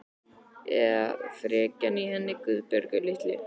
Eða frekjan í henni Guðbjörgu litlu.